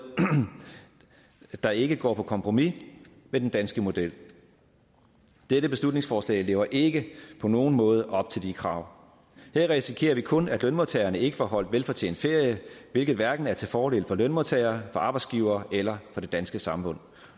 der ikke går på kompromis med den danske model dette beslutningsforslag lever ikke på nogen måde op til de krav her risikerer vi kun at lønmodtagerne ikke får holdt velfortjent ferie hvilket hverken er til fordel for lønmodtagere arbejdsgivere eller det danske samfund